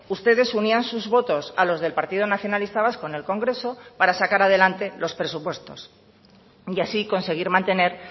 ustedes unían sus votos a los del partido nacionalista vasco en el congreso para sacar adelante los presupuestos y así conseguir mantener